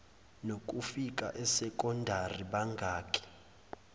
nokufika esekondari bangakhi